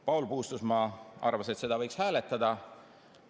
Paul Puustusmaa arvas, et seda võiks hääletada.